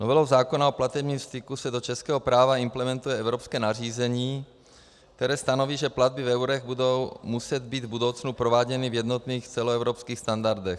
Novelou zákona o platebním styku se do českého práva implementuje evropské nařízení, které stanoví, že platby v eurech budou muset být v budoucnu prováděny v jednotných celoevropských standardech.